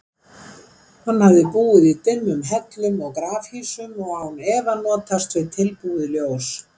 Hann hefði búið í dimmum hellum og grafhýsum og án efa notast við tilbúið ljós.